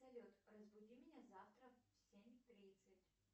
салют разбуди меня завтра в семь тридцать